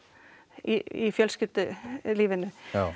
í fjölskyldulífinu